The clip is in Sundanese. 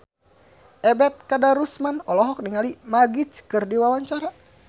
Ebet Kadarusman olohok ningali Magic keur diwawancara